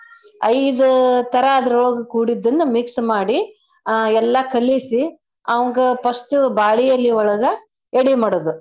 ಐದು ತರಾ ಅದ್ರೊಳಗ್ ಕೂಡಿದ್ದನ್ನ mix ಮಾಡಿ ಆ ಎಲ್ಲಾ ಕಲಿಸಿ ಅವಂಗ first ಬಾಳಿ ಎಲಿ ಒಳಗ ಎಡಿ ಮಾಡದು.